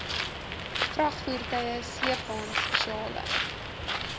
vragvoertuie sleepwaens spesiale